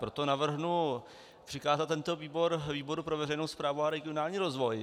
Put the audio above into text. Proto navrhnu přikázat tento výbor výboru pro veřejnou správu a regionální rozvoj.